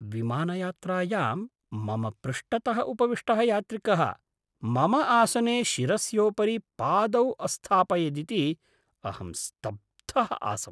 विमानयात्रायां मम पृष्ठतः उपविष्टः यात्रिकः मम आसने शिरस्योपरि पादौ अस्थापयदिति अहं स्तब्धः आसम्।